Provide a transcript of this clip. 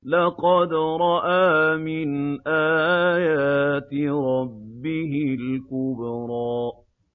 لَقَدْ رَأَىٰ مِنْ آيَاتِ رَبِّهِ الْكُبْرَىٰ